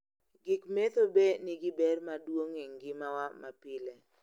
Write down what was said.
gik medho bee nigi ber maduong' e ngima wa mapile